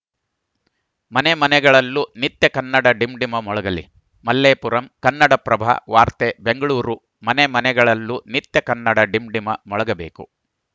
ಮನೆ ಮನೆಗಳಲ್ಲೂ ನಿತ್ಯ ಕನ್ನಡ ಡಿಂಡಿಮ ಮೊಳಗಲಿ ಮಲ್ಲೇಪುರಂ ಕನ್ನಡಪ್ರಭ ವಾರ್ತೆ ಬೆಂಗಳೂರು ಮನೆ ಮನೆಗಳಲ್ಲೂ ನಿತ್ಯ ಕನ್ನಡ ಡಿಂಡಿಮ ಮೊಳಗಬೇಕು